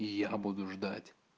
и я буду ждать